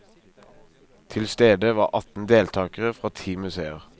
Til stede var atten deltakere fra ti museer.